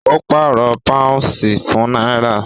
Ó pàrọ̀ pàúnsì fún náírà